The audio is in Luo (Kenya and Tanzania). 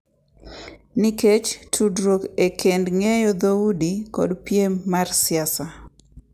Nikech tudruok e kind ng’eyo dhoudi kod piem mar siasa.